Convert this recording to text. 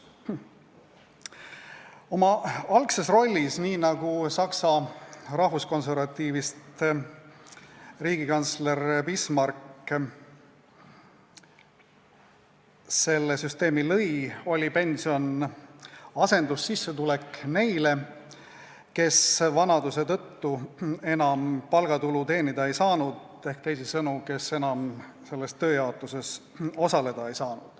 Oma algses rollis, nii nagu Saksa rahvuskonservatiivist riigikantsler Bismarck selle süsteemi lõi, oli pension asendussissetulek neile, kes vanaduse tõttu enam palgatulu teenida ei saanud, ehk teisisõnu neile, kes selles tööjaotuses enam osaleda ei saanud.